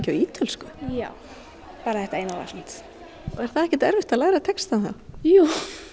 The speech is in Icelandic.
ítölsku já bara þetta eina lag samt er það ekkert erfitt að læra textann jú